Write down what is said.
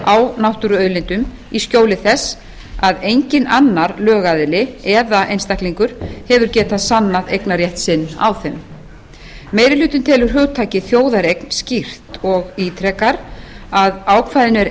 á náttúruauðlindum í skjóli þess að enginn annar lögaðili eða einstaklingur hefur getað sannað eignarrétt sinn á þeim meiri hlutinn telur hugtakið þjóðareign skýrt og ítrekar að ákvæðinu er